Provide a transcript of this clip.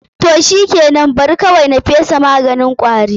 Toh shikenan, Bari kawaui na fesa maganin kwaron.